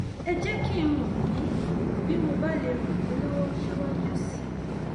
ẹ jẹ kí n mọ bí bí mo bá lè ràn yín lọwọ síwájú sí i